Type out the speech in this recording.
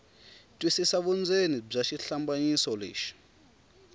twisisa vundzeni bya xihlambanyiso lexi